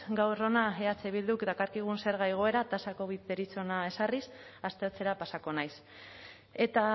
gaur hona eh bilduk dakarkigun zerga igoera tasa covid deritzona ezarriz aztertzera pasako naiz eta